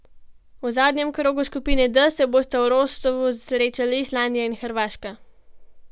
V zadnjem krogu skupine D se bosta v Rostovu srečali Islandija in Hrvaška.